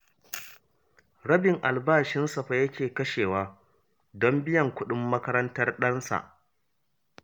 Rabin albashinsa fa yake kashewa don biyan kuɗin makarantar ɗansa